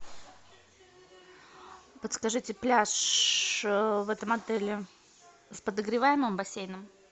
подскажите пляж в этом отеле с подогреваемым бассейном